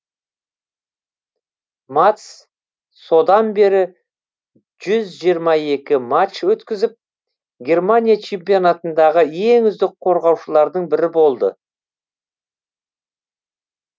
матс содан бері жүз жиырма екі матч өткізіп германия чемпионатындағы ең үздік қорғаушылардың бірі болды